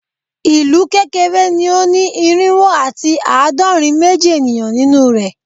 Ilu kekere ni o ni irinwo ati aadọrin meji eniyan ninu rẹ